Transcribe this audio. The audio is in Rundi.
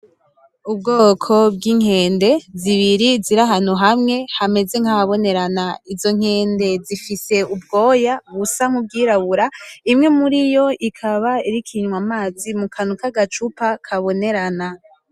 Ubwoko bw'inkende zibiri ziri ahantu hamwe hameze nkahabonerana. Izo nkende zifise ubwoya busa nubwirabura, imwe muriyo ikaba iriko inywa amazi mukantu k'agacupa kaborena.